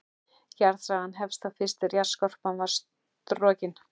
Jarðsagan hefst þá fyrst er jarðskorpan varð storkin.